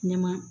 Ɲɛma